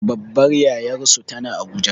Babbar yayarsu tana abuja